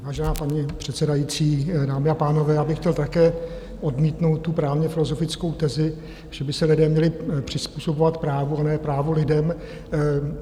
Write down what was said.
Vážená paní předsedající, dámy a pánové, já bych chtěl také odmítnout tu právně-filozofickou tezi, že by se lidé měli přizpůsobovat právu, a ne právo lidem.